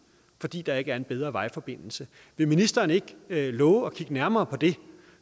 fordi der ikke er en bedre vejforbindelse vil ministeren ikke love at kigge nærmere på det